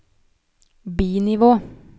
bi-nivå